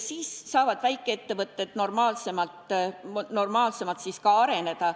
Siis saavad väikeettevõtted normaalsemalt ka areneda.